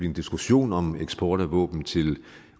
en diskussion om eksport af våben til